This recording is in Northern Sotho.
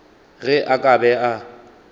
ge a ka be a